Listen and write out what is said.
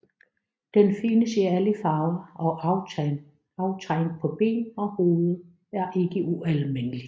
Den findes i alle farver og aftegn på ben og hoved er ikke ualmindeligt